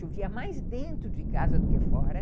Chovia mais dentro de casa do que fora.